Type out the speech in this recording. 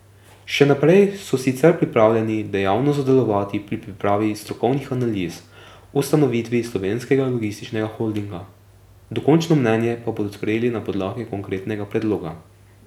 Še naprej so sicer pripravljeni dejavno sodelovati pri pripravi strokovnih analiz o ustanovitvi slovenskega logističnega holdinga, dokončno mnenje pa bodo sprejeli na podlagi konkretnega predloga.